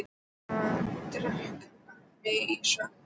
Ég varð að drekka mig í svefn.